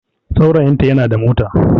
Saurayinta yana da mota